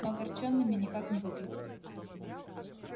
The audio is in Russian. но огорчёнными никак не выглядели